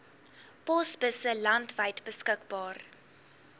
posbusse landwyd beskikbaar